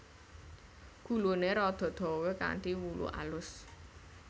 Guluné rada dawa kanthi wulu alus